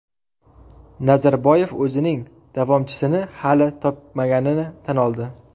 Nazarboyev o‘zining davomchisini hali topmaganini tan oldi .